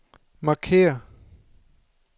markér